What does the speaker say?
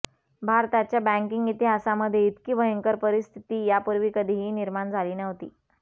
भारताच्या बँकिंग इतिहासामध्ये इतकी भयंकर परिस्थिती यापूर्वी कधीही निर्माण झाली नव्हती